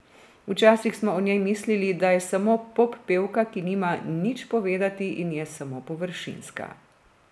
Včasih smo o njej mislili, da je samo poppevka, ki nima nič povedati, in je samo površinska.